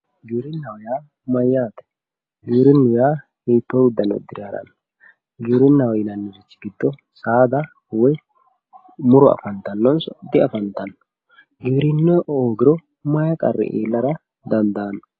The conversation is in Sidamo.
Giwirina yaa mayyate giwirinu yaa hiitto udano udire ha'rano, giwirina yinanniri giddo saada woyi muro diaffantano, giwirinu hoogiro mayi qarri iillara dandaano.